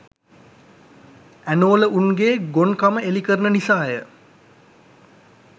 ඇනෝල උන්ගේ ගොන් කම එළි කරන නිසාය .